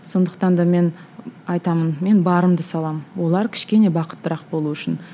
сондықтан да мен айтамын мен барымды саламын олар кішкене бақыттырақ болуы үшін